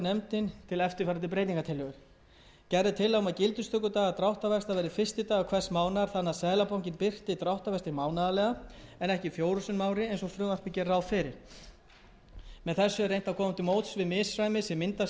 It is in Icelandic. nefndin til eftirfarandi breytingartillögur gerð er tillaga um að gildistökudagar dráttarvaxta verði fyrsti dagur hvers mánaðar þannig að seðlabankinn birti dráttarvexti mánaðarlega en ekki fjórum sinnum á ári eins og frumvarpið gerir ráð fyrir með þessu er reynt að koma